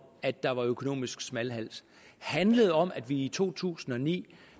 at der var økonomisk smalhals handlede det om at vi i to tusind og ni